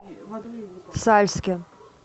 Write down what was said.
сальске